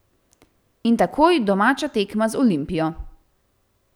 In takoj domača tekma z Olimpijo.